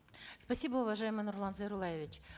спасибо уважаемый нурлан зайроллаевич